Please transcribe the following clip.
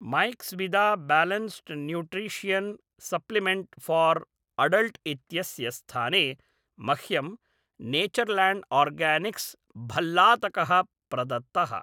Maxvida balanced nutrition supplement for adult इत्यस्य स्थाने मह्यं नेचर्लाण्ड् आर्गानिक्स् भल्लातकः प्रदत्तः